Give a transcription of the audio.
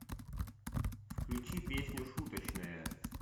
включи песню шуточная